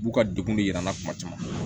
U b'u ka degun de yira an na kuma caman